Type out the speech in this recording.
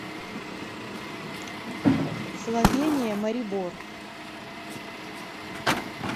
словения марибор